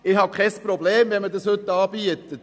» Ich habe kein Problem, wenn man dies heute anbietet.